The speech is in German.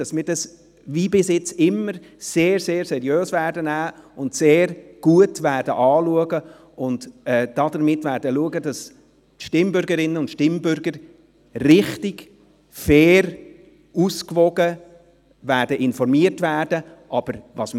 Wir vom Ausschuss werden die Abstimmungsbotschaft zur Änderung des SHG sehr, sehr ernst nehmen, sie sehr gut anschauen und dafür sorgen, dass die Stimmbürgerinnen und Stimmbürger richtig, fair und ausgewogen informiert werden – wie wir es immer tun.